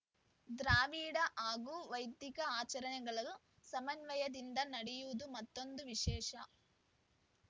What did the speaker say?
ದ್ರಾವಿಡ ಹಾಗೂ ವೈದಿಕ ಆಚರಣೆಗಳು ಸಮನ್ವಯದಿಂದ ನಡೆಯುವುದು ಮತ್ತೊಂದು ವಿಶೇಷ